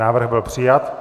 Návrh byl přijat.